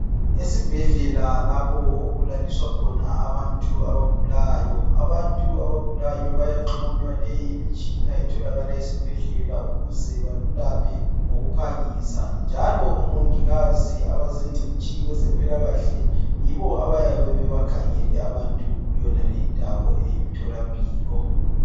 Esibhedlela lapho okulaliswa khona abantu abagulayo. Abantu abagulayo bayaxhunywa leyi imitshina etholakala esibhedlela ukuze balulame ngokuphangisa. Njalo omongikazi abazingcitshi kwezempilakahle yibo abayabe bebakhangele abantu kuyonale indawo eyimtholampilo